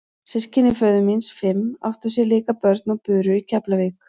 Systkini föður míns fimm áttu sér líka börn og buru í Keflavík.